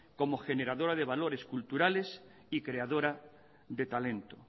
como generadora de valores culturas y creadora de talento